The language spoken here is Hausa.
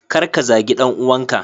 Kar ka zagi dan uwanka.